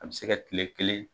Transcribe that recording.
A bɛ se ka tile kelen,